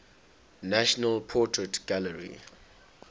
national portrait gallery